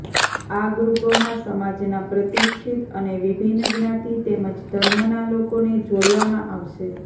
આ ગ્રુપોમાં સમાજના પ્રતિષ્ઠિત અને વિભિન્ન જ્ઞાતિ તેમજ ઘર્મના લોકોને જોડવામાં આવશે